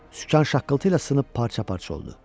Sükan şaqqıltı ilə sınıb parça-parça oldu.